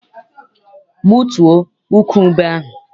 Gbutuo ukwu ube ahụ!